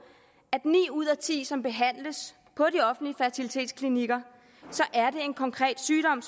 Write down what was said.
at ni ud af ti som behandles på de offentlige fertilitetsklinikker er det en konkret sygdom